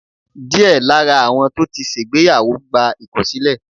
diẹ Lara awọn to tí ṣègbéyàwó, gba ikọsilẹ